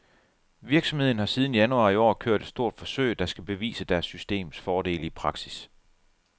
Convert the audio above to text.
Virksomheden har siden januar i år kørt et stort forsøg, der skal bevise deres systems fordele i praksis.